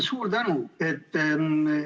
Suur tänu!